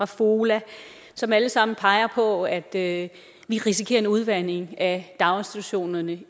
fola som alle sammen peger på at vi risikerer en udvanding af daginstitutionerne